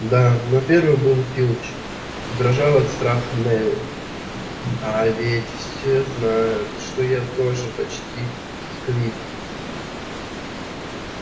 да но первый был филч дрожал от страха невилл а ведь все знают что я тоже почти сквиб